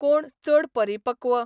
कोण चड परिपक्व?